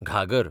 घागर